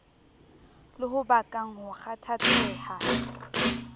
le ho bakang ho kgathatseha